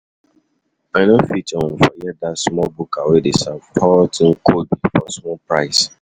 I no fit um forget dat small buka wey dey serve hot um nkwobi for small price.